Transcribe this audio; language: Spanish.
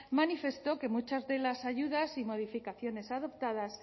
manifestó que muchas de las ayudas y modificaciones adoptadas